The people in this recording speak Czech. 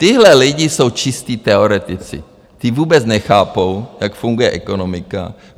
Tihle lidé jsou čistí teoretici, ti vůbec nechápou, jak funguje ekonomika.